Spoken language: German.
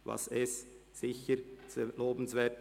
Das ist sicher sehr lobenswert.